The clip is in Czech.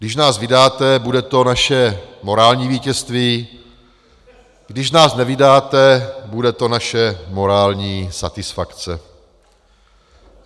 Když nás vydáte, bude to naše morální vítězství, když nás nevydáte, bude to naše morální satisfakce.